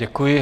Děkuji.